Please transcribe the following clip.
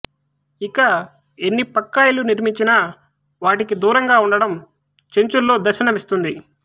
ఇక ఎన్ని పక్కా ఇళ్లు నిర్మించినా వాటికి దూరంగా ఉండడం చెంచుల్లో దర్శనమిస్తుంది